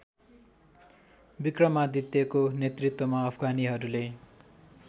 विक्रमादित्यको नेतृत्वमा अफगानीहरूले